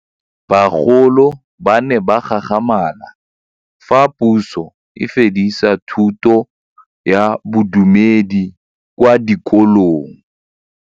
Bagolo ba ne ba gakgamala fa Pusô e fedisa thutô ya Bodumedi kwa dikolong.